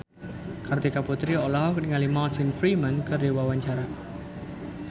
Kartika Putri olohok ningali Martin Freeman keur diwawancara